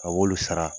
A b'olu sara